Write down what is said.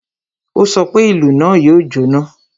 Ó sọ pé, "Ìlú náà yóò jọ́ná!"